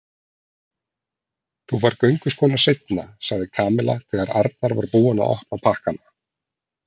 Þú færð gönguskóna seinna sagði Kamilla þegar Arnar var búinn að opna pakkana.